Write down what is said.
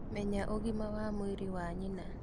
Menya ũgima wa mwĩrĩ wa nyina.